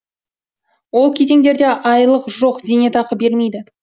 ол кезеңдерде айлық жоқ зейнетақы бермейді